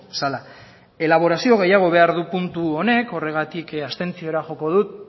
zela elaborazio gehiago behar du puntu honek horregatik abstentziora joko dut